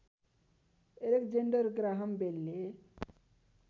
Alexander Graham बेलले